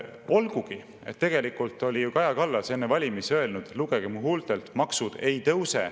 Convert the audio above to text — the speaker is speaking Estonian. Olgugi et tegelikult oli ju Kaja Kallas enne valimisi öelnud: "Lugege mu huultelt: maksud ei tõuse.